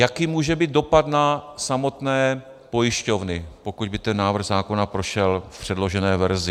Jaký může být dopad na samotné pojišťovny, pokud by ten návrh zákona prošel v předložené verzi?